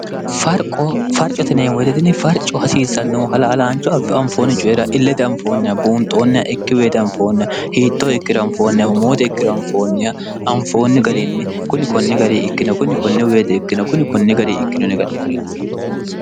frqofarcoteneemu wededini farco hasiissannohu halaalaancho affi anfoonni coyira illede anfoonnia buunxoonnia ikki weede anfoonniya hiittoo ikkira anfoonnia homoode ikkiri anfoonniya anfoonni gariinni kuni konni gari ikkino kunni konne weede ikkino kuni konni gari ikkino nega'ni kulate